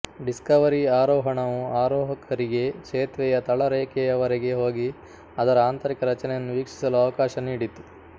Discovery ಆರೋಹಣವು ಆರೋಹಕರಿಗೆ ಸೇತುವೆಯ ತಳರೇಖೆಯವರೆಗೆ ಹೋಗಿ ಅದರ ಆಂತರಿಕ ರಚನೆಯನ್ನು ವೀಕ್ಷಿಸಲು ಅವಕಾಶ ನೀಡಿತು